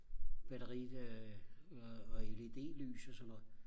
batteri øh og og LED lys og sådan noget